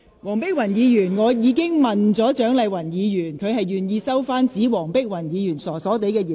黃碧雲議員，我已經詢問蔣麗芸議員，而她表示願意收回指黃碧雲議員"傻傻地"的言論。